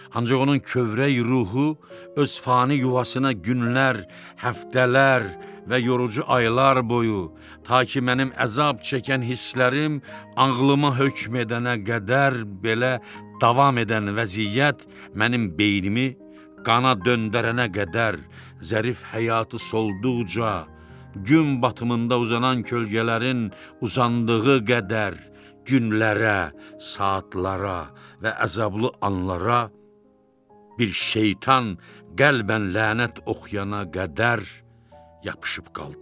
Ancaq onun kövrək ruhu öz fani yuvasına günlər, həftələr və yorucu aylar boyu, ta ki mənim əzab çəkən hisslərim ağlıma hökm edənə qədər, belə davam edən vəziyyət mənim beynimi qana döndərənə qədər, zərif həyatı solduqca, gün batımında uzanan kölgələrin uzandığı qədər günlərə, saatlara və əzablı anlara bir şeytan qəlbən lənət oxuyana qədər yapışıb qaldı.